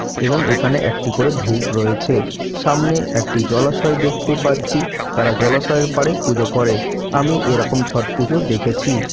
এবং এখানে একটি করে ধূপ রয়েছে। সামনে একটি জলাশয় দেখতে পাচ্ছি। তারা জলাশয়ের পাড়ে পুজো করে। আমি এরকম ছট পুজো দেখেছি।